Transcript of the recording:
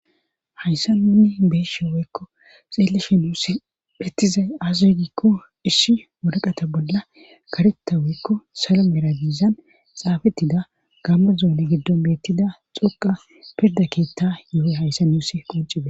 hayssa nunni beeshe weykko xeelleshe nuus ettizay aasoy gikko isshi wodaqata bolla karetta weykko salo merazizan xaafettida gamma zoone giddon beettida xoqa pirda keetta yo7oy hayssa niusi qoncibe